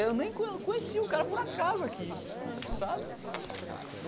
Eu nem co conheci o cara por acaso aqui sabe.